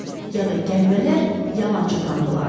Ya da gəlmələr yalançı tanrılardı.